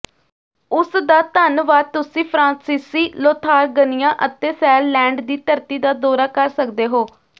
ਉਸ ਦਾ ਧੰਨਵਾਦ ਤੁਸੀਂ ਫ੍ਰਾਂਸੀਸੀ ਲੋਥਾਰਗਨੀਆ ਅਤੇ ਸੈਰਲੈਂਡ ਦੀ ਧਰਤੀ ਦਾ ਦੌਰਾ ਕਰ ਸਕਦੇ ਹੋ